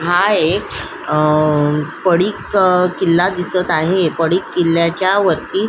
हा एक अ पडिक अ किल्ला दिसत आहे पडिक किल्याच्या वरती --